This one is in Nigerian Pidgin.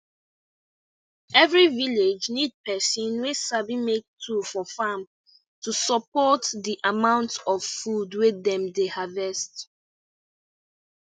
every village need person wey sabi make tool for farm to support the amount of food wey dem dey harvest